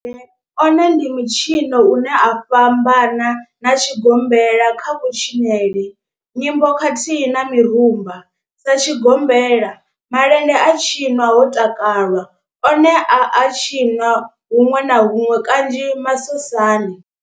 One ndi mitshino une u a fhambana na tshigombela kha kutshinele, nyimbo khathihi na mirumba. Sa tshigombela, malende a tshinwa ho takalwa, one a a tshiniwa hunwe na hunwe kanzhi masosani.